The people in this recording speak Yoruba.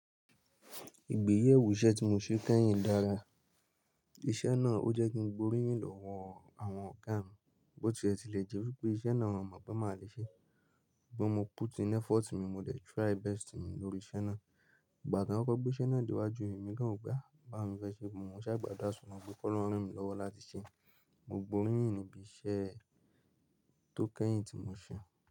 Ìgbéyewó iṣẹ́ tí mo ṣe kẹ́yìn dára. Iṣẹ́ náà, ó jẹ́ kí n gbóríyìn lọ́wọ́ àwọn ọ̀gá mi. Bótí ẹ ti le jẹ́ wípé iṣẹ́ náà wọ́n mọ̀ pé máa le ṣe, bí mo put in effort mi, mo de try best mi lórí iṣẹ́ náà. Ìgbà tan koko gbé iṣẹ́ náà dé iwájú mi, èmi gàn wo pé aa. Bàá wo ni mo fẹ́ ṣe, mo ṣàgbàdura sọlọ́run pé kí ọlọ́run ran mi lọ́wọ́ láti ṣe. Mo gbóríyìn níbí iṣẹ́ tó kẹ́yìn tí mo ṣe.